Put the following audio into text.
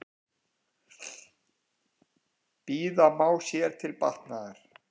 Bíða má sér til batnaðar.